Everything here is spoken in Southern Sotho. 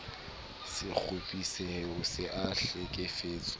se kgopisehe o se hlekefetse